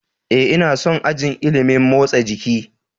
Ee, ina son ajin ilimin motsa jiki.